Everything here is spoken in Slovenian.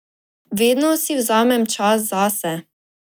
Vedno si vzamem čas zase.